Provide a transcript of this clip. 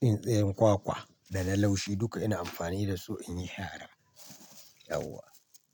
Tsintsiyar kwakwa da na laushi duka ina amfani da su inyi shara. Yauwa